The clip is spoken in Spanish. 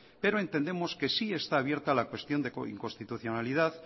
pero entendemos que sí está abierta la cuestión de inconstitucionalidad